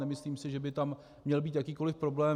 Nemyslím si, že by tam měl být jakýkoli problém.